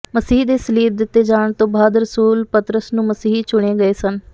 ਮਸੀਹ ਦੇ ਸਲੀਬ ਦਿੱਤੇ ਜਾਣ ਤੋਂ ਬਾਅਦ ਰਸੂਲ ਪਤਰਸ ਨੂੰ ਮਸੀਹੀ ਚੁਣੇ ਗਏ ਸਨ